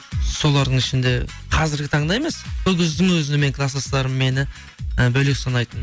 солардың ішінде қазіргі таңда емес сол кездің өзінде менің класстастарым мені і бөлек санайтын